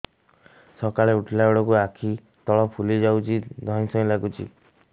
ସକାଳେ ଉଠିଲା ବେଳକୁ ଆଖି ତଳ ଫୁଲି ଯାଉଛି ଧଇଁ ସଇଁ ଲାଗୁଚି